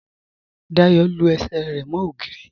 Dáyọ lú ẹṣẹ̀ rẹ mo ogìrì